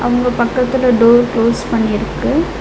இவுங்க பக்கத்துல door close பண்ணி இருக்கு.